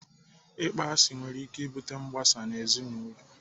Ịkpọ asị nwere ike ibute mgbasa ezinaụlọ.